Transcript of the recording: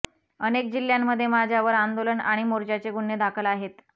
अनेक जिल्ह्यांमध्ये माझ्यावर आंदोलन आणि मोर्च्याचे गुन्हे दाखल आहेत